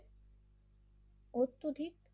অত্যধিক